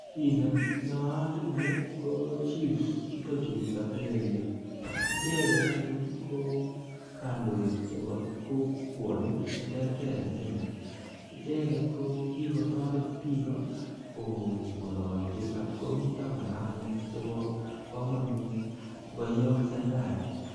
Chi ne naat en g' yu ko chiefs chu katelelya. Icheget anyun ko kandoik cheoa kokwanik che terter eng' Kenya. Icheget o kikotaret piik kong'alalchi ngo mita ng'alalet chepo kamanut ko kaiyak serkali